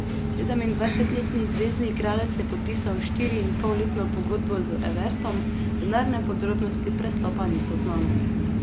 Sedemindvajsetletni zvezni igralec je podpisal štiriinpolletno pogodbo z Evertonom, denarne podrobnosti prestopa niso znane.